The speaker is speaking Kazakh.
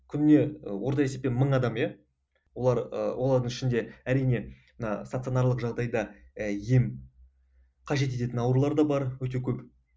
күніне ы орта есеппен мың адам иә олар ыыы олардың ішінде әрине мына стационарлық жағдайда і ем қажет ететін аурулар да бар өте көп